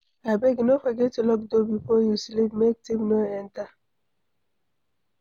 Abeg no forget lock door before you sleep make thief no enter